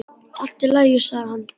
Allt í lagi, sagði hann.